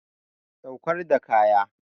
Saukar da kaya.